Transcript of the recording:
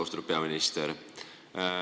Austatud peaminister!